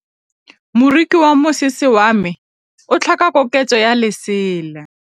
Moroki wa mosese wa me o tlhoka koketsô ya lesela.